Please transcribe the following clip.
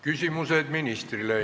Küsimused ministrile.